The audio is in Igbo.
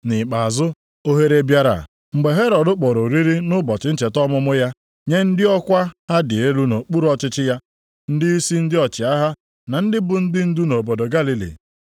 Nʼikpeazụ, ohere bịara mgbe Herọd kpọrọ oriri nʼụbọchị ncheta ọmụmụ ya nye ndị ọkwa ha dị elu nʼokpuru ọchịchị ya, ndịisi ndị ọchịagha na ndị bụ ndị ndu nʼobodo Galili.